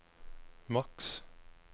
maks